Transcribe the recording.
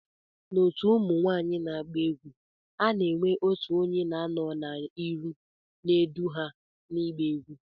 Na otu ụmụnwanyi na agba egwu, ana enwe otụ onye na anọ na iru n'edu ha na igba egwu.